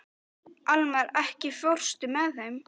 Almar, ekki fórstu með þeim?